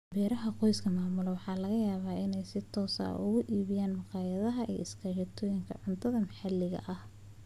Beeraha qoysku maamulaan waxa laga yaabaa inay si toos ah uga iibiyaan makhaayadaha iyo iskaashatooyinka cuntada maxaliga ah.